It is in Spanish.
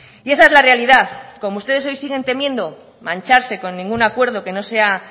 y esa es la realidad como ustedes hoy siguen temiendo mancharse con ningún acuerdo que no sea